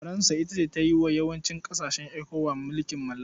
Faransa ita ta yi wa yawancin ƙasashen ECOWAS mulkin mallaka.